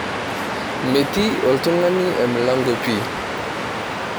Metii oltung'ani emilango pi.